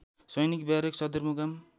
सैनिक ब्यारेक सदरमुकाम